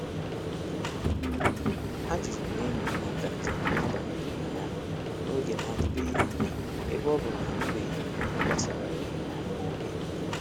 A jụrụ m enyi m maka njem ha banyere na ya n’oge n'adịbeghị anya ebe ọ bụ na anụbeghị m ihe gbasara ya nwa oge.